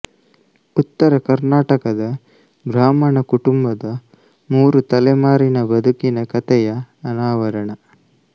ಉತ್ತರ ಕರ್ನಾಟಕದ ಬ್ರಾಹ್ಮಣ ಕುಟುಂಬದ ಮೂರು ತಲೆಮಾರಿನ ಬದುಕಿನ ಕಥೆಯ ಅನಾವರಣ